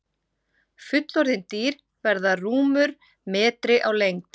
Fullorðin dýr verða rúmur metri á lengd.